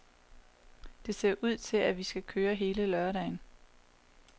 Det ser ud til, at vi skal køre hele lørdagen.